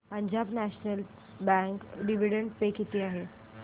Punjab national bank dividend pay किती आहे